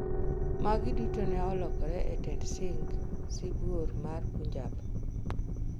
Magi duto ne olokore e tend Singh, Sibuor ma Punjab